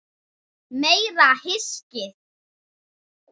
Meira hyskið!